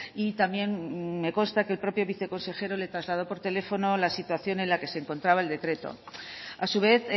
y también me consta que el propio viceconsejero le trasladó por teléfono la situación en la que se encontraba el decreto a su vez